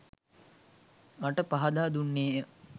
මට පහදා දුන්නේ ය.